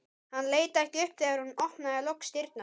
Hann leit ekki upp þegar hún opnaði loks dyrnar.